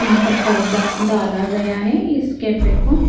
यहां पर पर्दा डाला गया है इस कैफे को--